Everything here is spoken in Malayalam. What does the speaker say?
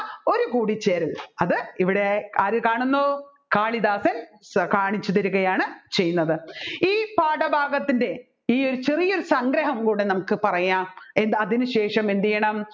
ഒരുകൂടിച്ചേരൽ അത് ഇവിടെ ആര് കാണുന്നു കാളിദാസൻ കാണിച്ചുതരികയാണ് ചെയ്യുന്നത് ഈ പാഠഭാഗത്തിൻറെ ഈ ഒരു ചെറിയ സംഗ്രഹം കൂടി നമുക്ക് പറയാം അതിന് ശേഷം എന്തുചെയ്യണം